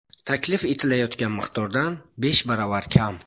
Taklif etilayotgan miqdordan besh baravar kam.